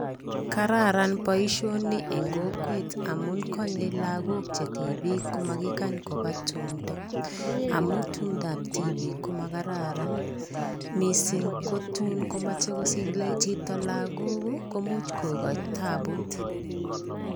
Kararan boisioni eng kokwet amun konyei lagok che tibik komakikany koba tumdo amun tumdab tibik ko magararan. Mising ko tun komache kosiche chito lagok ii, komuch kogochi tabut.